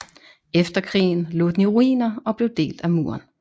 Efter krigen lå den i ruiner og blev delt af muren